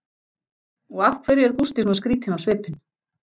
Og af hverju er Gústi svona skrýtinn á svipinn?